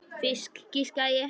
Fisk, giskaði ég.